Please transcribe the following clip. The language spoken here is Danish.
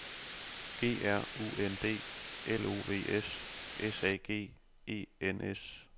G R U N D L O V S S A G E N S